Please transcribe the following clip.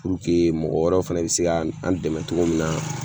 Puruke mɔgɔ wɛrɛw fɛnɛ be se ga an dɛmɛ togo min na